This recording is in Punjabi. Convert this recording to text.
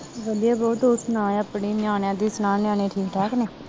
ਵਧੀਆ ਬਾਊ ਤੂੰ ਸੁਣਾ ਆਪਣੀ ਨਿਆਣਿਆਂ ਦੀ ਸੁਣਾ ਨਿਆਣੇ ਠੀਕ ਠਾਕ ਨੇ